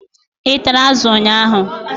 Ị tara azụ ụnyaahụ?